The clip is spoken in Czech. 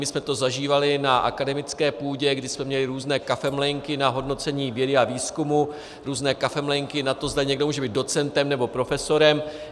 My jsme to zažívali na akademické půdě, kde jsme měli různé kafemlejnky na hodnocení vědy a výzkumu, různé kafemlejnky na to, zda někdo může být docentem nebo profesorem.